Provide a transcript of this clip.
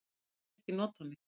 Hann vill ekki nota mig.